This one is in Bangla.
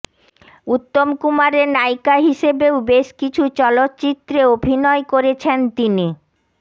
উত্তম কুমারের নায়িকা হিসেবেও বেশ কিছু চলচ্চিত্রে অভিনয় করেছেন তিনি